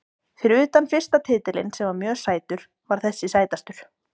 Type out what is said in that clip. Fyrir utan fyrsta titilinn sem var mjög sætur var þessi sætastur.